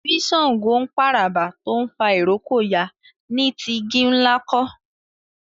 bí ṣàngó ń p'àràbà tó ń fà ìrókò yá ní tí igi-nla kò